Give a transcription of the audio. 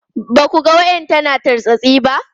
Ba ku ganin wayar tana tartsatsi ba?